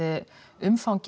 umfangið